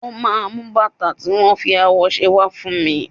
Ó máa mú bàtà tí wón fi awọ ṣe wá fún mi.